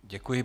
Děkuji.